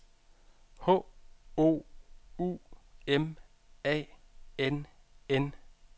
H O U M A N N